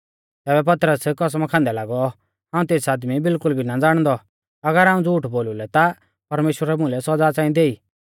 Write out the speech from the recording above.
तैबै पतरस कसमा खांदै लागौ हाऊं तेस आदमी बिल्कुल भी ना ज़ाणदौ अगर हाऊं झ़ूठ बोलु लै ता परमेश्‍वरै मुलै सौज़ा च़ांई देई